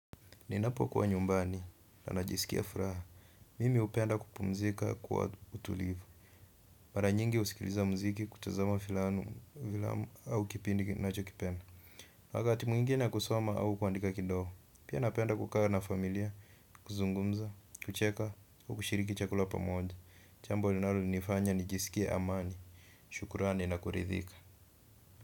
Ninapo kuwa nyumbani na najisikia furaha. Mimi hupenda kupumzika kwa utulivu. Mara nyingi husikiliza muziki kutazama filamu au kipindi ninachokipenda. Na wakati mwingine kusoma au kuandika kidogo. Pia napenda kukaa na familia kuzungumza kucheka na kushiriki chakula pamoja jambo linalonifanya nijisikie amani shukrani na kuridhika.